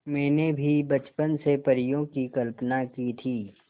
मैंने भी बचपन से परियों की कल्पना की थी